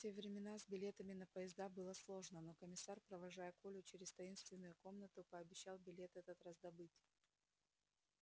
в те времена с билетами на поезда было сложно но комиссар провожая колю через таинственную комнату пообещал билет этот раздобыть